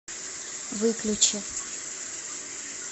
выключи